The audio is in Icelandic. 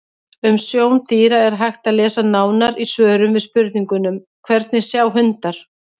Um sjón dýra er hægt að lesa nánar í svörum við spurningunum: Hvernig sjá hundar?